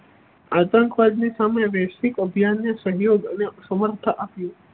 આંતકવાદ ની સામે વૈશ્વિક અભિયાન ને સહયોગ અને સમર્થ આપિયું.